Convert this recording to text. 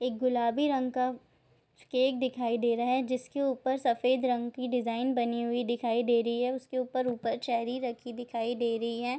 एक गुलाबी रंग का केक दिखाई दे रहा है जिसके ऊपर सफ़ेद रंग की डिजाईन बनी हुई दिखाई दे रही है उसके ऊपर-ऊपर चेरी रखी दिखाई दे रही है।